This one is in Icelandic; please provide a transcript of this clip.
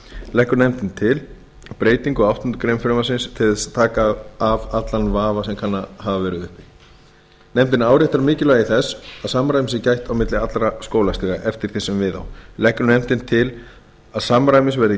leggur nefndin til breytingu á áttundu greinar frumvarpsins til þess að taka af allan vafa sem kann að hafa verið uppi nefndin áréttar mikilvægi þess að samræmis sé gætt á milli allra skólastiga eftir því sem við á leggur nefndin til að samræmis verði